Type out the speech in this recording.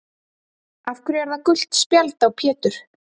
Af hverju er það gult spjald á Pétur?